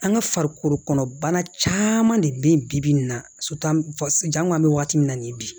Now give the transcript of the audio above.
An ka farikolo kɔnɔna de bɛ bi-bi in na an k'an bɛ waati min na ni bi